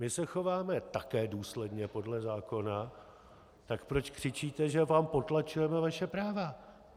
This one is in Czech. My se chováme také důsledně podle zákona, tak proč křičíte, že vám potlačujeme vaše práva?